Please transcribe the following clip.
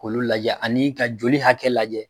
Kolu lajɛ ani'i ka joli hakɛ lajɛ.